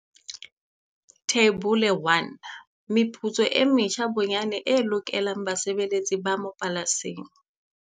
Theibole ya 1. Meputso e metjha bonyane e lokelang basebeletsi ba mapolasing